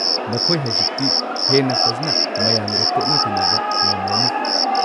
ꯅꯈꯣꯏ ꯍꯧꯖꯤꯛꯇꯤ ꯍꯦꯟꯅ ꯐꯖꯅ ꯃꯌꯥꯝꯒ ꯇꯣꯠꯅ-ꯇꯤꯟꯅꯕ ꯉꯝꯂꯅꯤ꯫